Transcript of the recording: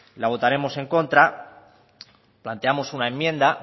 la votaremos en contra planteamos una enmienda